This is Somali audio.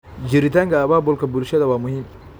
Jiritaanka abaabulka bulshada waa muhiim.